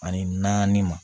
Ani naani ma